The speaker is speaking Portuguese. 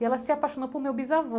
E ela se apaixonou por meu bisavô